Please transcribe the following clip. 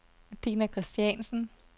Dina Christiansen